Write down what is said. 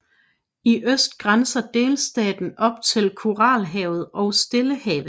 I øst grænser delstaten op til Koralhavet og Stillehavet